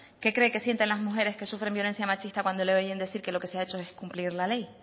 qué cree que sienten las mujeres que sufren violencia machista cuando le oyen decir que lo que se ha hecho es cumplir la ley